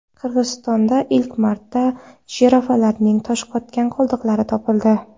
Qirg‘izistonda ilk marta jirafalarning toshqotgan qoldiqlari topildi.